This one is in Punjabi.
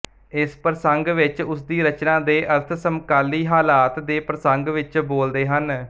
ਇਸ ਪ੍ਰਸੰਗ ਵਿੱਚ ਉਸਦੀ ਰਚਨਾ ਦੇ ਅਰਥ ਸਮਕਾਲੀ ਹਾਲਾਤ ਦੇ ਪ੍ਰਸੰਗ ਵਿੱਚ ਬੋਲਦੇ ਹਨ